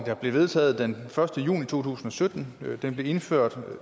der blev vedtaget den første juni to tusind og sytten og den blev indført